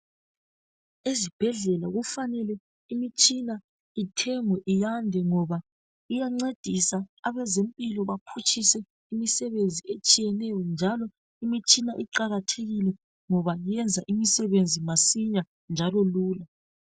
Esibhedlela kufanele imitshina ithemgwe iyande ngoba iyancedisa abezempilo baphutshise imisebenzi etshiyetshiyeneyo njalo imitshina iqakathekile ngoba yenza imisebenzi masinya njalo lula